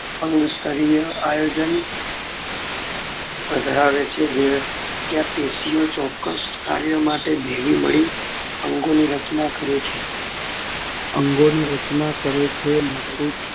અંગ સ્તરીય આયોજન ધરાવે છે જ્યાં પેશીઓ ચોક્ક્સ કાર્ય માટે ભેગી મળી અંગોની રચના કરે છે.